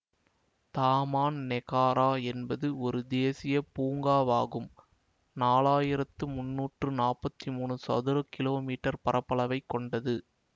Taman Negara என்பது ஒரு தேசிய பூங்காவாகும் நாலாயிரத்து முன்னூற்று நாப்பத்தி மூனு சதுர கிலோமீட்டர் பரப்பளவைக் கொண்டது